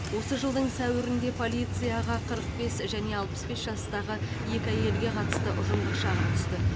осы жылдың сәуірінде полицияға қырық бес және алпыс бес жастағы екі әйелге қатысты ұжымдық шағым түсті